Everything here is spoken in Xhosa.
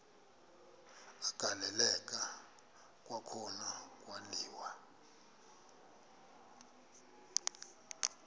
agaleleka kwakhona kwaliwa